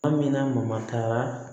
A mina ma taga